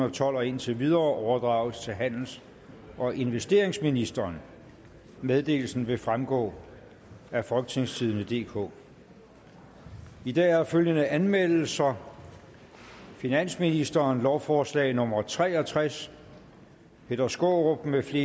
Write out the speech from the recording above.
og tolv og indtil videre overdrages til handels og investeringsministeren meddelelsen vil fremgå af folketingstidende DK i dag er der følgende anmeldelser finansministeren lovforslag nummer l tre og tres peter skaarup mfl